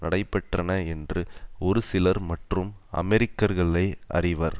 நடைபெற்றன என்று ஒருசிலர் மற்றும் அமெரிக்கர்களே அறிவர்